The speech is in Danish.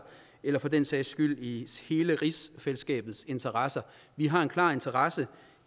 eller for den sags skyld i hele rigsfællesskabets interesse vi har en klar interesse